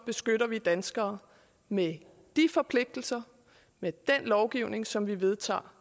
beskytter vi danskere med de forpligtelser med den lovgivning som vi vedtager